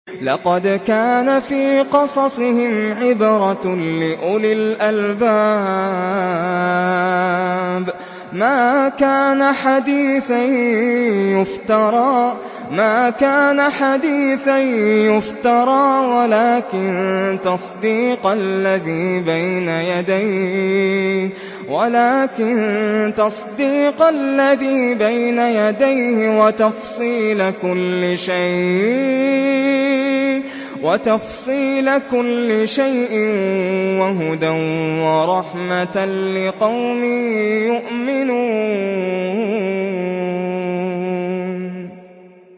لَقَدْ كَانَ فِي قَصَصِهِمْ عِبْرَةٌ لِّأُولِي الْأَلْبَابِ ۗ مَا كَانَ حَدِيثًا يُفْتَرَىٰ وَلَٰكِن تَصْدِيقَ الَّذِي بَيْنَ يَدَيْهِ وَتَفْصِيلَ كُلِّ شَيْءٍ وَهُدًى وَرَحْمَةً لِّقَوْمٍ يُؤْمِنُونَ